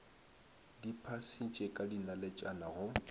di phasitše ka dinaletšana go